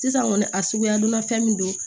Sisan kɔni a suguya dunna fɛn min don